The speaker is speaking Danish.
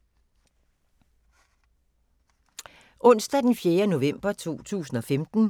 Onsdag d. 4. november 2015